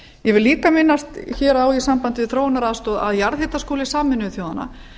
ég vil líka minnast hér á í sambandi við þróunaraðstoð að jarðhitaskóli sameinuðu þjóðanna